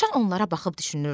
Rövşən onlara baxıb düşünürdü.